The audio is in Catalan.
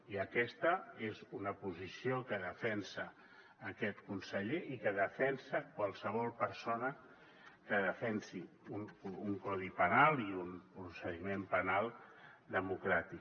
i aquesta és una posició que defensa aquest conseller i que defensa qualsevol persona que defensi un codi penal i un procediment penal democràtic